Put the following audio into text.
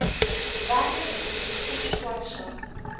werke mcebisi skwatsha